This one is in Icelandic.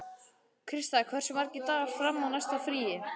Krista, hversu margir dagar fram að næsta fríi?